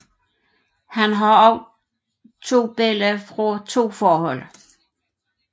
Han har også to børn fra to forhold